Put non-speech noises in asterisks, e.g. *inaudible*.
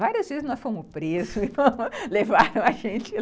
Várias vezes nós fomos presos *laughs* e levaram a gente lá.